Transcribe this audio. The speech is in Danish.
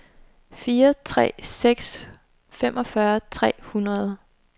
fire tre tre seks femogfyrre tre hundrede